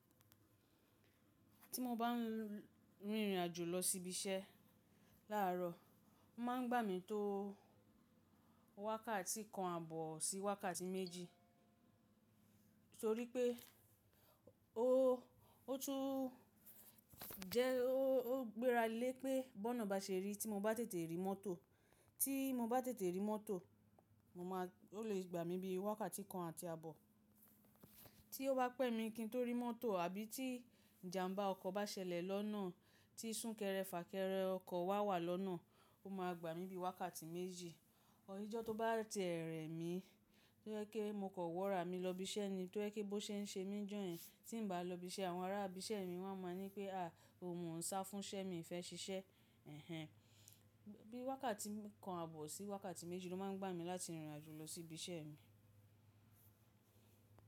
Tí mo bá ń rìnrìn àjò lọ síbi iṣẹ́ láàárọ̀, má a ń gbà mí tó wákàtí kan àbọ̀ sí wákàtí méjì. Nítorí pé ó, ó tún jẹ́ ó gbéra lé pé bọ́ọ̀n bá ṣe rí tí mo bá tètè rí mọ́tò, tí mo bá tètè rí mọ́tò, ó lè gbà mí bí i wákàtí kan àti àbọ̀. Tí ó bá pẹ́ mi kí n tó rí mọ́tò àbí tí ìjàmbá ọkọ̀ bá ṣẹlẹ̀ lọ́nà tí sún kẹrẹ fà kẹrẹ ọkọ̀ wá wà lọ́nà, ó máa gbà mí bí i wákàtí méjì. Ọjọ́ tó bá tiẹ rẹ mí tó jẹ́ pemo kan wọ́ra mi lọ ibi iṣẹ́ ni, tó jẹ́ pe bó ṣe ń ṣe mí n jọ̀yen. Tí n bá lọ ibi iṣẹ́ àwọn ará ibi iṣẹ́ mi wọ́n máa ni pé “àh mo n sá fún iṣẹ́ mi o fẹ́ ṣiṣẹ́?” Bíi wákàtí kan àbọ̀ sí wákàtí méjì ló máa ń gbà mí láti rìnrìn àjò lọ sí ibi iṣẹ́ mi.